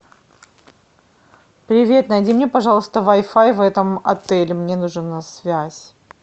привет найди мне пожалуйста вай фай в этом отеле мне нужна связь